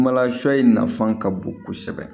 Kumalasɔ in nafan ka bon kosɛbɛ